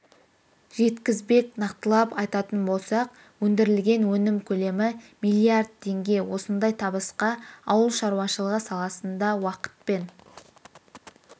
жеткізбек нақтылап айтатын болсақ өндірілген өнім көлемі миллиард теңге осындай табысқа ауыл шаруашылығы саласында уақытпен